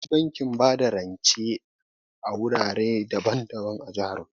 Akwai bankin bada rance a wurare daban-daban a jihar mu.